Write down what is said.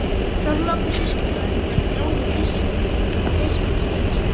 Þorlákur sýslumaður var bróðir Gissurar biskups Einarssonar.